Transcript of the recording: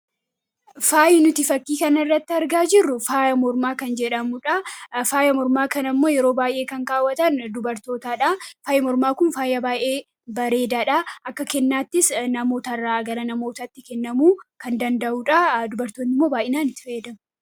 Faayyi nuti fakkii kan irratti argaa jirru faayya mormaa kana ammoo yeroo baay'ee kan kaawwatan dubartootaadha faayya mormaa kun faayya baay'ee bareedaa dha akka kennaattis namootarraa gara namootaatti kennamuu kan danda'uudha dubartootni immoo baay'inaan itti fayyadamu.